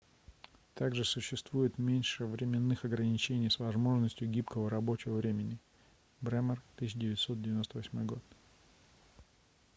также существует меньше временных ограничений с возможностью гибкого рабочего времени. бремер 1998 год